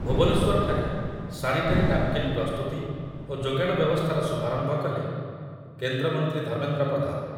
ଭୁବନେଶ୍ୱରଠାରେ sanitary napkin ପ୍ରସ୍ତୁତି ଓ ଯୋଗାଣ ବ୍ୟବସ୍ଥାର ଶୁଭାରମ୍ଭ କଲେ କେନ୍ଦ୍ରମନ୍ତ୍ରୀ ଧର୍ମେନ୍ଦ୍ର ପ୍ରଧାନ ।